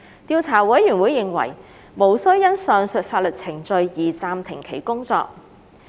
調查委員會認為無需因上述法律程序而暫停其工作。